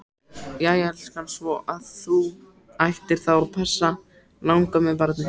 Jæja elskan, svo að þú ætlar þá að passa langömmubarnið?